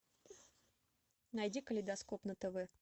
найди калейдоскоп на тв